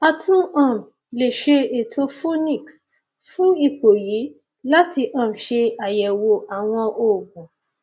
a tún um lè lo ètò phoenix fún ipò yìí láti um ṣe àyẹwò àwọn oògùn